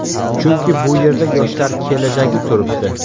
Chunki bu yerda yoshlar kelajagi turibdi.